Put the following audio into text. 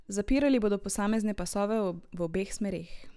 Zapirali bodo posamezne pasove v obeh smereh.